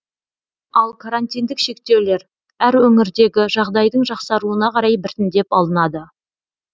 ал карантиндік шектеулер әр өңірдегі жағдайдың жақсаруына қарай біртіндеп алынады